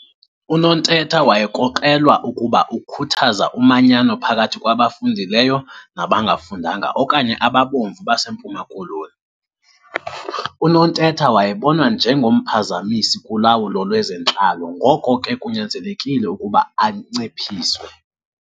UNontetha wayekrokrelwa ukuba ukhuthaza umanyano phakathi kwabafundileyo nabangafundanga okanye 'ababomvu' baseMpuma Koloni . UNontetha wayebonwa nje ngomphazamisi kulawulo lwezentlalo ngoko ke kunyanzelekile ukuba anciphiswe.